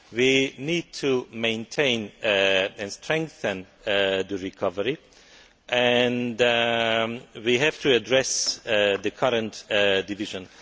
We need to maintain and strengthen the recovery, and we have to address the current division.